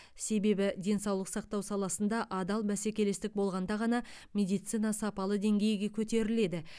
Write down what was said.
себебі денсаулық сақтау саласында адал бәсекелестік болғанда ғана медицина сапалы деңгейге көтеріледі